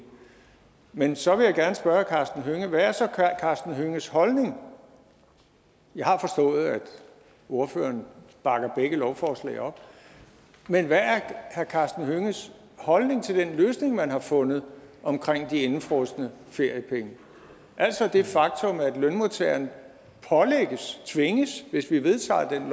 man så vil jeg gerne spørge herre karsten hønge hvad er så herre karsten hønges holdning jeg har forstået at ordføreren bakker begge lovforslag op men hvad er herre karsten hønges holdning til den løsning man har fundet omkring de indefrosne feriepenge altså det faktum at lønmodtagerne pålægges tvinges hvis vi vedtager det